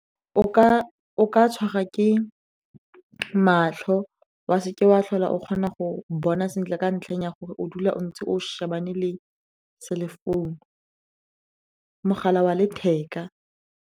O ka tshwarwa ke matlho, wa se ke wa tlhola o kgona go bona sentle ka ntlheng ya gore o dula o ntse o shebane le mogala wa letheka.